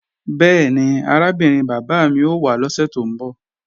Bẹ́ẹ̀ni, arábìnrin bàbá mi ó wá lọ́sè tó ń bọ̀